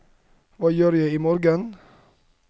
hva gjør jeg imorgen